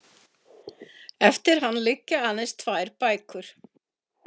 Eftir hann liggja aðeins tvær bækur.